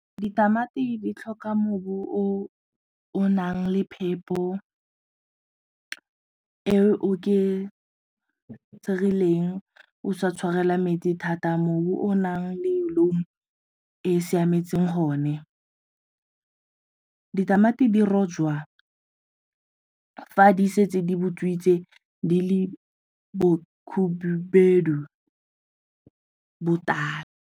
Ditamati di tlhoka mobu o o nang le phepo e oketsegileng o sa tshwarela metsi thata mobu o naleng loam e siametseng gone. Ditamati di rojwa fa di setse di butswitse di le botala.